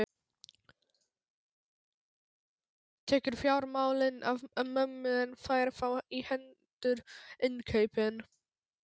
Tekur fjármálin af mömmu en fær þá í hendur innkaupin.